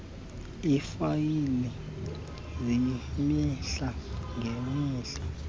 iifayile zemihla ngemihla